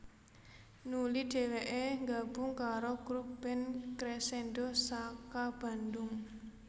Nuli dhèwèké nggabung karo grup band Cresendo saka Bandung